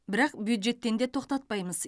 бірақ бюджеттен де тоқтатпаймыз